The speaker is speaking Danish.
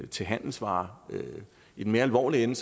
til handelsvarer i den mere alvorlige ende